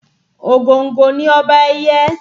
Ògòǹgò ni ọba ẹyẹ